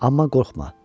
Amma qorxma.